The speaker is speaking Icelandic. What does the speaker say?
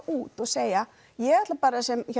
út og segja ég ætla sem